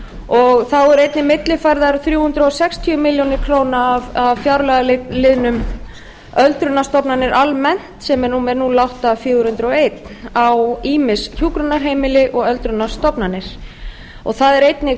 og þá eru efni millifærðar rúmlega þrjú hundruð sextíu milljónir króna af fjárlagaliðnum öldrunarstofnanir almennt sem er númer núll átta fjögur hundruð og einn á ýmis hjúkrunarheimili og öldrunarstofnanir það er einnig